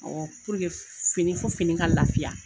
fini fo fini ka laafiya.